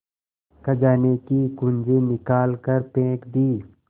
खजाने की कुन्जी निकाल कर फेंक दी